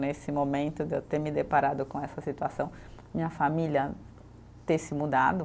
Nesse momento de eu ter me deparado com essa situação, minha família ter se mudado.